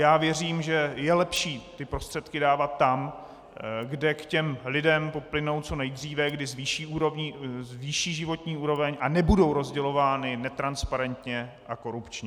Já věřím, že je lepší ty prostředky dávat tam, kde k těm lidem plynou co nejdříve, kdy zvýší životní úroveň a nebudou rozdělovány netransparentně a korupčně.